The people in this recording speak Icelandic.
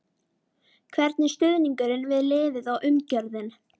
Hvernig er stuðningurinn við liðið og umgjörðin?